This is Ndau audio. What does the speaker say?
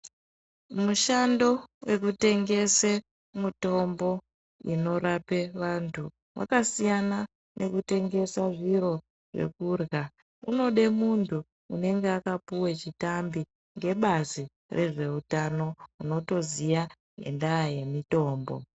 Mushando wekutengese mutombo inorape vantu wakasiyana nekutengesa zviro zvekurya unode muntu unenge wakapuwe chitambi gebazi rezveutano rinotoziya ngendaa yemitombo.